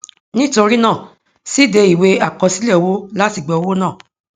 nitori naa síde iwe akosile owo lati gba owo naa